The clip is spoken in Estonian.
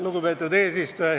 Lugupeetud eesistuja!